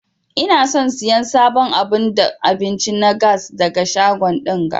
Ina son siyan sabon abun abinci na gas daga shago dinga.